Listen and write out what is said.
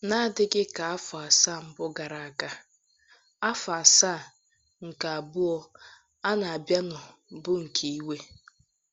N’adịghị ka afọ asaa mbụ gara aga, afọ asaa nke abụọ a na-abianu bụ nke iwe.